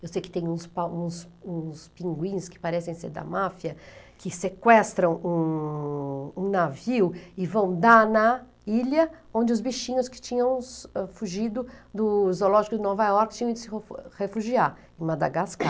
Eu sei que tem uns pa uns uns pinguins que parecem ser da máfia, que sequestram um um navio e vão dar na ilha onde os bichinhos que tinham fugido do zoológico de Nova York tinham ido se refu refugiar, em Madagascar.